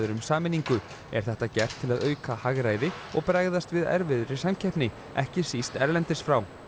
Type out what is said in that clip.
um sameiningu er þetta gert til að auka hagræði og bregðast við erfiðri samkeppni ekki síst erlendis frá